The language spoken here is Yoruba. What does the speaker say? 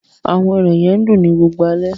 Awọn irẹ̀ yẹ n dùn ni gbogbo ale